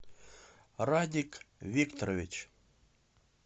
радик викторович